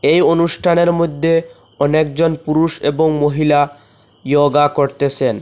এই অনুষ্ঠানের মদ্যে অনেকজন পুরুষ এবং মহিলা ইয়োগা করতেসেন।